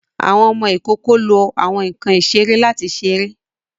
Àwọn ọmọ ikoko lo awọn nkan isere lati ṣere